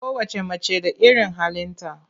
Kowacce mace da irin halinta.